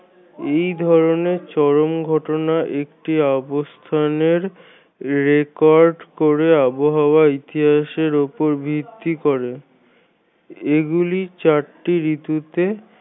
এই ধরণের চরম ঘটনা একটি অবস্থানের record করে আবহাওয়া ইতিহাসের উপর ভিত্তি করে এইগুলি চারটি ঋতুতে